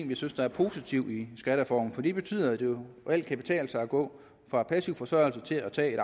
vi synes er positive i skattereformen det betyder at det jo reelt kan betale sig at gå fra passiv forsørgelse til at tage et